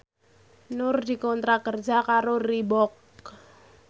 Nur dikontrak kerja karo Reebook